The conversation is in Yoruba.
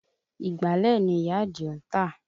Ìgbálẹ̀ ni ìyá Àdìó ń tà